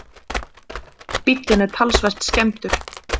Bíllinn er talsvert skemmdur